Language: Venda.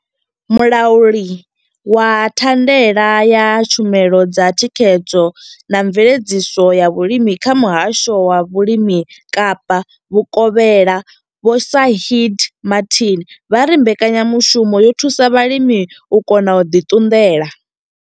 Mulauli wa thandela ya tshumelo dza thikhedzo na mveledziso ya vhulimi kha muhasho wa vhulimi Kapa vhukovhela Vho Shaheed Martin vha ri mbekanyamushumo yo thusa vhalimi u kona u ḓi ṱunḓela.